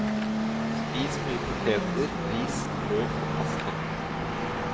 Spis mye poteter, ris, brød og pasta.